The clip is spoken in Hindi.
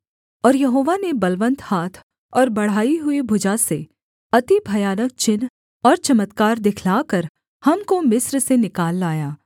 और यहोवा ने बलवन्त हाथ और बढ़ाई हुई भुजा से अति भयानक चिन्ह और चमत्कार दिखलाकर हमको मिस्र से निकाल लाया